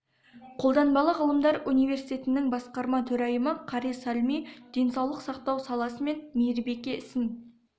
қолданбалы ғылымдар университетінің басқарма төрайымы кари салми денсаулық сақтау саласы мен мейірбике ісін